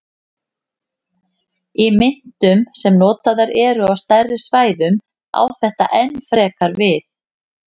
Í myntum sem notaðar eru á stærri svæðum á þetta enn frekar við.